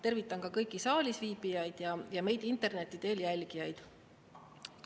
Tervitan ka kõiki saalis viibijaid ja meid interneti teel jälgijaid!